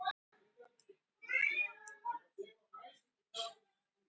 Núna hugsaði hún bara um Kormák.